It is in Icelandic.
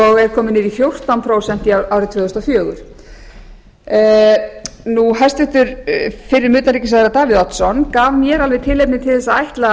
er kominn niður í fjórtán prósent árið tvö þúsund og fjögur hæstvirtur fyrrum utanríkisráðherra davíð oddsson gaf mér alveg tilefni til þess að ætla að